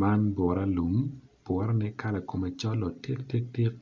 Man bura lum bura ne kala kome col otiktiktik